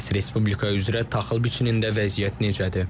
Bəs Respublika üzrə taxıl biçinində vəziyyət necədir?